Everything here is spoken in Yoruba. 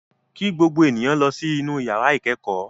Kí gbogbo èèyàn lọ sí inú yàrá ìkẹ́kọ̀ọ́!